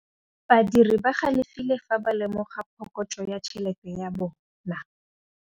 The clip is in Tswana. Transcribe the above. Badiri ba galefile fa ba lemoga phokotsô ya tšhelête ya bone.